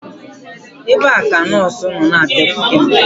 Ebee ka nọọsụ nọ na-abịakwute m?